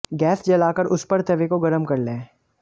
gas जलाकर उस पर तवे को गर्म कर लें